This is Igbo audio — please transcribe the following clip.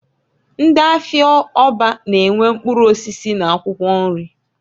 Ndị afịa Orba na -enwe mkpụrụ osisi n'akwụkwọ nri.